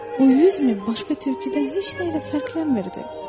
O yüz min başqa tülküdən heç nə ilə fərqlənmirdi.